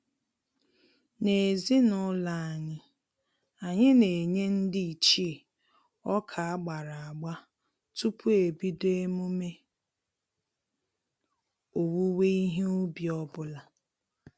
N'ezinụlọ anyị, anyị na-enye ndị ichie ọka agbara agba tupu ebido emume owuwe ihe ubi ọbụla